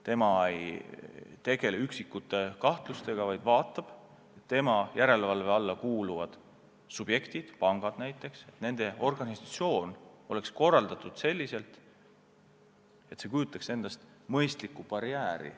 Ta ei tegele üksikute kahtlustega, vaid jälgib, et tema järelevalve alla kuuluvad subjektid – pangad näiteks – on oma töö korraldanud nii, et oleks olemas mõistlikud barjäärid.